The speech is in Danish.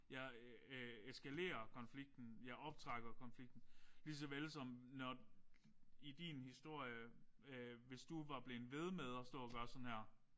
Jeg øh eskalerer konflikten. Jeg optrapper konflikten. Lige såvel som når i din historie øh hvis vi var blevet ved med at stå og gøre sådan her